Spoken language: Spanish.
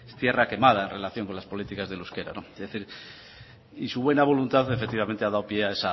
es tierra quemada en relación contra las políticas del euskera no es decir y su buena voluntad efectivamente ha dado pie